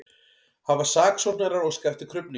Hafa saksóknarar óskað eftir krufningu